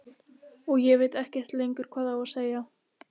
Og ég veit ekkert lengur hvað ég á að segja.